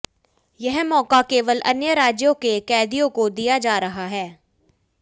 यह मौका केवल अन्य राज्य के कैदियों को दिया जा रहा है